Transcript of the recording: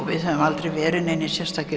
við höfum aldrei verið neinir sérstakir